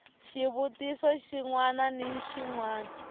xivutiso xin wana ni xin